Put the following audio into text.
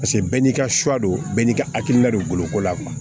Paseke bɛɛ n'i ka suwa don bɛɛ n'i ka hakilina don boloko la